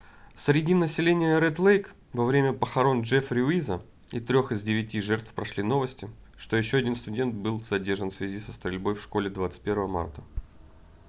среди населения ред-лейк во время похорон джеффри уиза и трёх из девяти жертв прошли новости что еще один студент был задержан в связи со стрельбой в школе 21 марта